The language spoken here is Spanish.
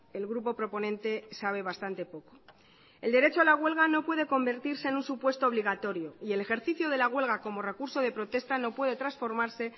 el grupo proponente sabe bastante poco el derecho a la huelga no puede convertirse en un supuesto obligatorio y el ejercicio de la huelga como recurso de protesta no puede transformarse en